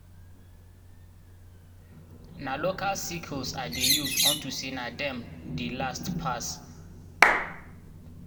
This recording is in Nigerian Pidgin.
na local sickles i dey use unto say na dem dey last pass.